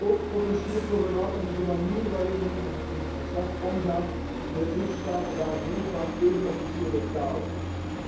Ook potentieel problematisch is de manier waarmee men in het verslag omgaat met lidstaten waar meer dan één officiële taal is.